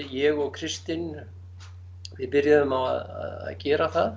ég og Kristinn við byrjuðum á að gera það